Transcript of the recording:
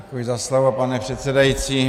Děkuji za slovo, pane předsedající.